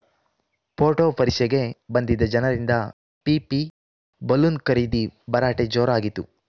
photo ಪರಿಷೆಗೆ ಬಂದಿದ್ದ ಜನರಿಂದ ಪೀಪಿ ಬಲೂನ್‌ ಖರೀದಿ ಭರಾಟೆ ಜೋರಾಗಿತು